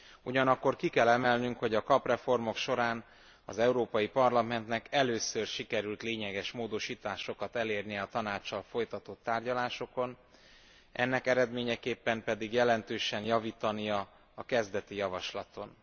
Ugyanakkor ki kell emelnünk, hogy a KAP reformok során az Európai Parlamentnek először sikerült lényeges módosításokat elérnie a Tanáccsal folytatott tárgyalásokon, ennek eredményeképpen pedig jelentősen javítani a kezdeti javaslaton.